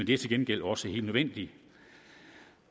det er til gengæld også helt nødvendigt